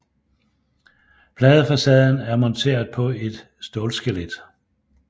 Pladefacaden er monteret på et stålskelet